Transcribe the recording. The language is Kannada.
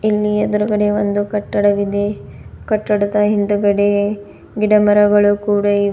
ಇಲ್ಲಿ ಎದುರುಗಡೆ ಒಂದು ಕಟ್ಟದವಿದೆ ಕಟ್ಟಡದ ಹಿಂದುಗಡೆ ಗಿಡ ಮರಗಳು ಕೂಡ ಇ --